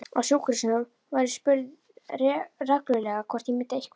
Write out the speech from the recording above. Á sjúkrahúsinu var ég spurð reglulega hvort ég myndi eitthvað.